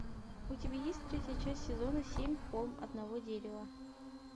у тебя есть третья часть сезона семь холм одного дерева